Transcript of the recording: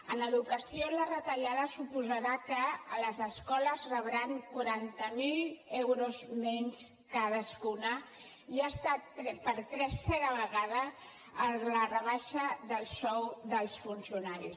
en educació la retallada suposarà que les escoles rebran quaranta miler euros menys cadascuna i ha estat per tercera vegada la rebaixa del sou dels funcionaris